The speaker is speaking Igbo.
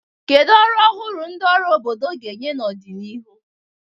Kedu ọrụ ọhụrụ ndị ọrụ obodo ga-enye n'ọdịnihu?